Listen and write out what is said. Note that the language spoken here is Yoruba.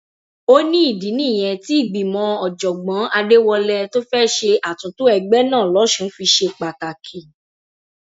ó ní ìdí nìyẹn tí ìgbìmọ ọjọgbọn adéwọlẹ tó fẹẹ ṣe àtúntò ẹgbẹ náà lọsùn fi ṣe pàtàkì